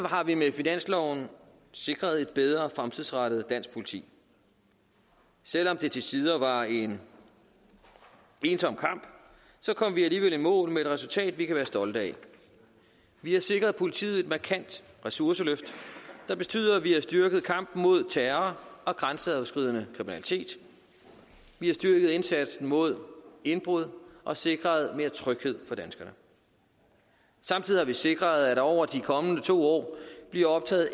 har vi med finansloven sikret et bedre fremtidsrettet dansk politi selv om det til tider var en ensom kamp kom vi alligevel i mål med et resultat vi kan være stolte af vi har sikret politiet et markant ressourceløft der betyder at vi har styrket kampen mod terror og grænseoverskridende kriminalitet vi har styrket indsatsen mod indbrud og sikret mere tryghed for danskerne og samtidig har vi sikret at der over de kommende to år bliver optaget